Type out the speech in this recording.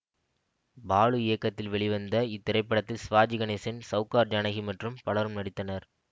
பாலு இயக்கத்தில் வெளிவந்த இத்திரைப்படத்தில் சிவாஜி கணேசன் சௌகார் ஜானகி மற்றும் பலரும் நடித்தனர்